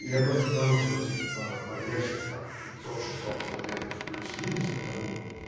я просто к потому что типа погрешность там в пятьсот шестьсот километров плюс минус это ну